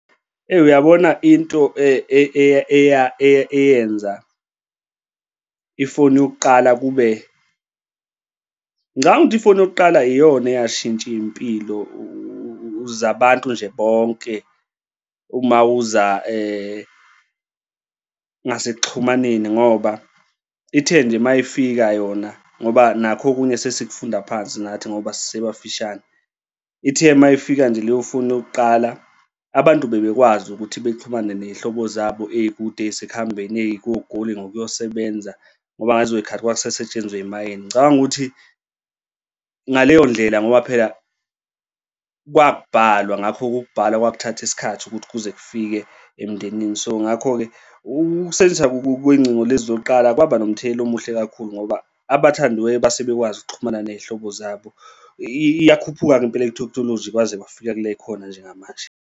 Eyi, uyabona into eyenza ifoni yokuqala kube, ngicabanga ukuthi ifoni yokuqala iyona eyashintsha iy'mpilo zabantu nje bonke uma uza ngasekuxhumaneni ngoba ithe nje mayifika yona ngoba nakho okunye sesifunda phansi nathi ngoba sisebafishane ithe uma ifika nje leyo foni yokuqala, abantu bebekwazi ukuthi bexhumane ney'hlobo zabo ey'sekuhambeni ey'koGoli ngokuyosebenza ngoba ngalezoy'khathi kwakusasetshenzwa ey'mayini. Ngicabanga ukuthi ngaleyo ndlela ngoba phela kwakubhalwa, ngakho-ke ukubhala kwajuthatha isikhathi ukuthi kuze kufike emndenini. So, ngakho-ke ukusetshenziswa kwey'ngcingo lezi zokuqala kwaba nomthelela omuhle kakhulu ngoba abathandiweyo base bekwazi ukuxhumana ney'hlobo zabo iyakhuphuka-ke impolo ye-thekhinoloji kwaze kwaafika kule ekhona njengamanje.